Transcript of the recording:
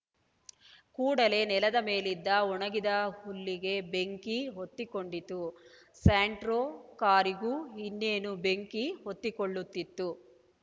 ಕೂಡಲೇ ನೆಲದ ಮೇಲಿದ್ದ ಒಣಗಿದ ಹುಲ್ಲಿಗೆ ಬೆಂಕಿ ಹೊತ್ತಿಕೊಂಡಿತು ಸ್ಯಾಂಟ್ರೋ ಕಾರಿಗೂ ಇನ್ನೇನು ಬೆಂಕಿ ಹೊತ್ತಿಕೊಳ್ಳುತ್ತಿತ್ತು